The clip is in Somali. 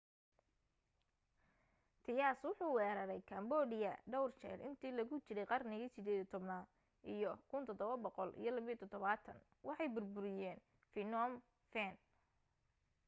thais wuxuu weeraray cambodia dhawr jeer intii lagu jiray qarnigii 18aad iyo 1772 waxay burburiyeen phnom phen